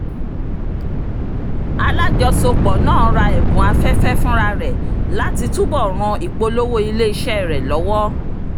alájọsọpọ̀ náà ra ẹ̀bùn afẹ́fẹ́ fúnra rẹ̀ láti túbò̀ ràn ìpolówó ilé-iṣẹ́ rẹ lọ́wọ́